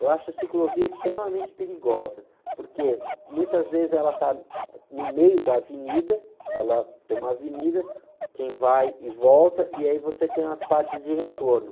Eu acho a ciclovia extremamente perigosa, porque muitas vezes ela está no meio da avenida, ela tem uma avenida, quem vai e volta, e aí você tem as partes de retorno.